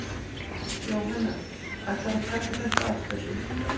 Jóhanna: Ætlarðu að taka þetta aftur?